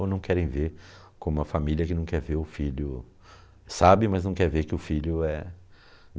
Ou não querem ver como a família que não quer ver o filho sabe, mas não quer ver que o filho é